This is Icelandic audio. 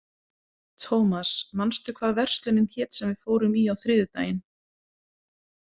Thomas, manstu hvað verslunin hét sem við fórum í á þriðjudaginn?